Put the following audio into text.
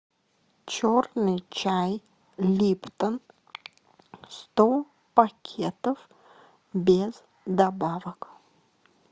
черный чай липтон сто пакетов без добавок